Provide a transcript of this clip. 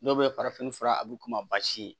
Dɔw bɛ farafin fura a b'u k'u ma basi ye